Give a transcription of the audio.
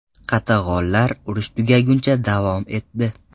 Qatag‘onlar urush tugaguncha davom etdi.